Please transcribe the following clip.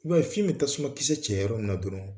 I b'a ye fiyen be tasuma kisɛ cɛ yɔrɔ minna dɔrɔn